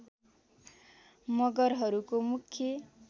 मगरहरूको मुख्य